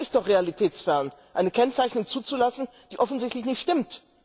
Das ist doch realitätsfern Eine Kennzeichnung zuzulassen, die offensichtlich nicht stimmt.